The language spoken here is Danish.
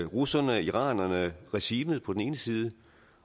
russerne iranerne og regimet på den ene side